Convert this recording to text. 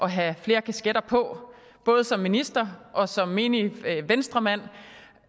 have flere kasketter på både som minister og som menig venstremand